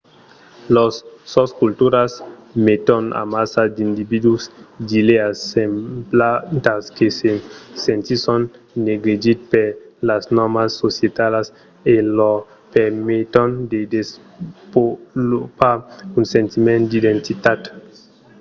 las sosculturas meton amassa d'individus d'idèas semblantas que se sentisson negligits per las nòrmas societalas e lor permeton de desvolopar un sentiment d'identitat